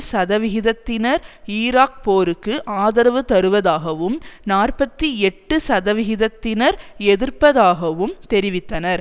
சதவிகிதத்தினர் ஈராக் போருக்கு ஆதரவு தருவதாகவும் நாற்பத்தி எட்டு சதவிகிதத்தினர் எதிர்ப்பதாகவும் தெரிவித்தனர்